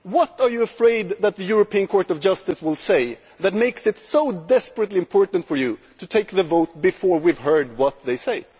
What are you afraid that the European Court of Justice will say which makes it so desperately important for you to vote before we have heard what they say?